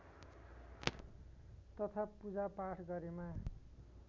तथा पूजापाठ गरेमा